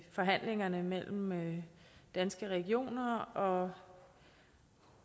forhandlingerne mellem danske regioner og